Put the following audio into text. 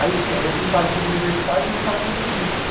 Aí sim, aí eu não estava com os universitários, mas estava com os turistas, né?